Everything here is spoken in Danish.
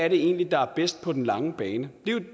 egentlig er der er bedst på den lange bane det er